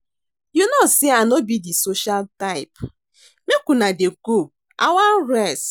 You no say I no be the social type, make una dey go I wan rest